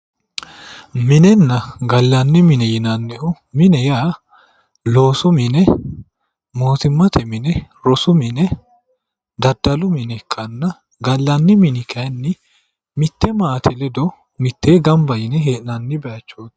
minenna gallanni mine yinannihu mine yaa loosu mine mootimmate mine rosu mine daddalu mine ikkanna gallanni mini kayiinni mitte maate ledo mitee gamba yine hee'nanni bayiichooti.